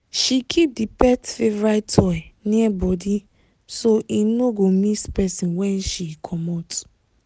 she keep the pet favorite toy near body so e no go miss person when she comot.